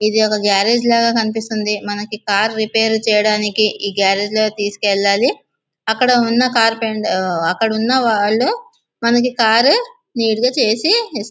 ఇది ఒక గ్యారేజ్ లాగా కనిపిస్తుంది. మనకి కారు రిపేరు చేయడానికి ఈ గ్యారేజ్ లోకి తీసుకెళ్లాలి. అక్కడ ఉన్న కార్పెంట అక్కడ ఉన్న వాళ్లు మనకి కారు నీట్ చేసి--